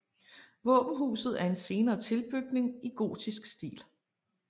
Våbenhuset er en senere tilbygning i gotisk stil